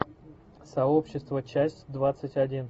сообщество часть двадцать один